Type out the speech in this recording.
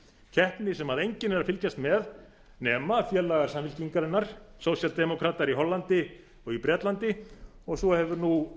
keppni sem enginn er að fylgjast með nema félagar samfylkingarinnar sósíaldemókratar í hollandi og í bretlandi og svo hefur